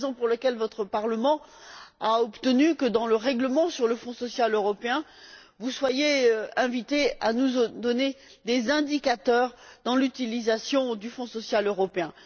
C'est la raison pour laquelle votre Parlement a obtenu, que dans le règlement sur le Fonds social européen, vous soyez invités à nous donner des indicateurs dans l'utilisation du Fonds social européen.